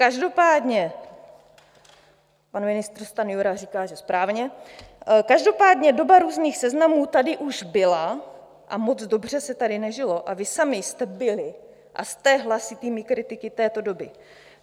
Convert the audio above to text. Každopádně - pan ministr Stanjura říká, že správně - každopádně doba různých seznamů tady už byla a moc dobře se tady nežilo a vy sami jste byli a jste hlasitými kritiky této doby.